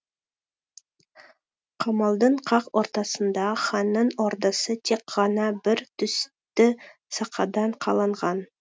қамалдың қақ ортасында ханның ордасы тек ғана бір түсті сақадан қаланған